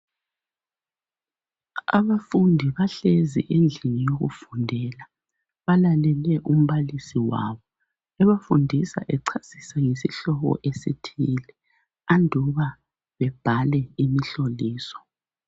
Abafundi bahlezi endlini yokufundela balalele umbalisi wabo. Ebafundisa ecasisa ngesihlobo esithile anduba bebhale imihloliso.